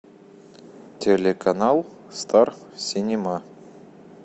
телеканал стар синема